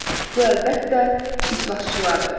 Bu əlbəttə icraçılardır.